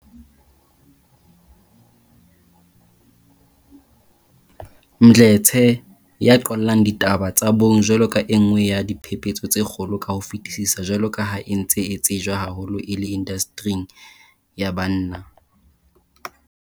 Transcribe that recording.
Mdletshe, ya qollang ditaba tsa bong jwalo ka e nngwe ya diphephetso tse kgolo ka ho fetisisa jwalo ka ha e ntse e tsejwa haholo e le indasteri ya banna.